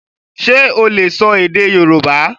Ṣe o le sọ èdè Yorùbá?